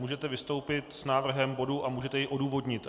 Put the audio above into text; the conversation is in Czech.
Můžete vystoupit s návrhem bodu a můžete jej odůvodnit.